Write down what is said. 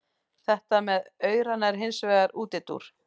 Þetta með aurana er hins vegar útúrdúr.